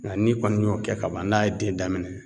Nga n'i kɔni y'o kɛ ka ban n'a ye den daminɛ